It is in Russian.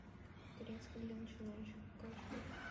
турецкий для начинающих покажи